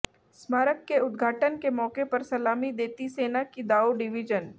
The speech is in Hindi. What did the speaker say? स्मारक के उद्घाटन के मौके पर सलामी देती सेना की दाओ डिवीजन